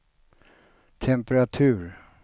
temperatur